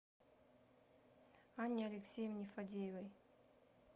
анне алексеевне фадеевой